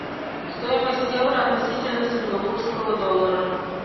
стоимость евро относительно сингапурского доллара